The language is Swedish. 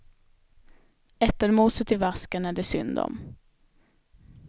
Äppelmoset i vasken är det synd om.